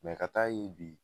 Mɛ ka taa ɲe bi